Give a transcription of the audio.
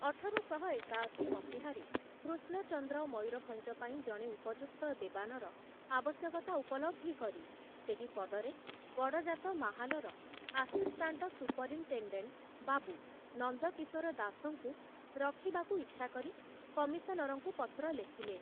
ଅଠର ଶହ ଏକାଅଶି ମସିହାରେ କୃଷ୍ଣଚନ୍ଦ୍ର ମୟୂରଭଞ୍ଜ ପାଇଁ ଜଣେ ଉପଯୁକ୍ତ ଦେବାନର ଆବଶ୍ୟକତା ଉପଲବ୍ଧି କରି ସେହି ପଦରେ ଗଡ଼ଜାତ ମାହାଲର ଆସିଷ୍ଟାଣ୍ଟ ସୁପରିନଟେଣ୍ଡେଣ୍ଟ ବାବୁ ନନ୍ଦକିଶୋର ଦାସଙ୍କୁ ରଖିବାକୁ ଇଚ୍ଛା କରି କମିଶନରଙ୍କୁ ପତ୍ର ଲେଖିଲେ ।